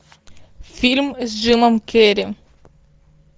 фильм с джимом керри